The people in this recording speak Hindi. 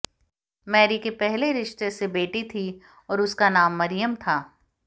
मैरी के पहले रिश्ते से बेटी थी और उसका नाम मरियम था